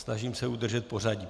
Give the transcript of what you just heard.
Snažím se udržet pořadí.